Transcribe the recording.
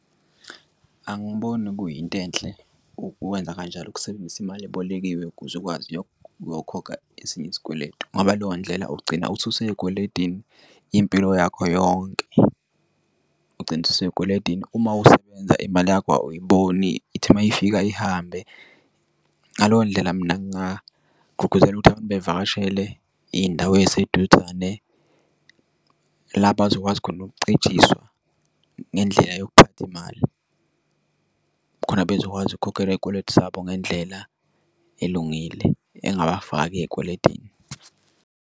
Angiboni kuyinto enhle ukwenza kanjalo ukusebenzisa imali ebolekiwe ukuze ukwazi yokukhokha esinye isikweletu ngoba leyo ndlela ugcina uthi useyikweletini impilo yakho yonke ugcine ususey'kweletini uma usebenza imali yakho awuyiboni ithi uma ifika ihambe. Ngaleyo ndlela mina ngingagqugquzela ukuthi abantu bevakashele iy'ndawo eyiseduzane, la bazokwazi khona ukuncijiswa ngendlela yokuphatha imali. Khona bezokwazi ukukhokhela izikweletu zabo ngendlela elungile engawafaki ey'kweletini.